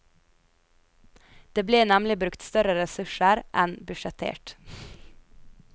Det ble nemlig brukt større ressurser enn budsjettert.